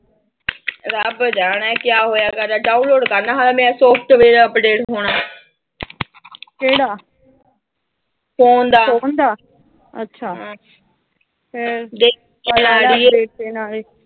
ਰੱਬ ਜਾਣੇ ਕਿਆ ਹੋਇਆ ਮੇਰਾ ਡਾਊਨਲੋਟ ਕੱਲ੍ਹ ਹੋਇਆ ਮੇਰਾ, ਸਾਫ਼ਟਵੇਅਰ ਅਪਡੇਟ ਹੋਣਾ। ਫੋਨ ਦਾ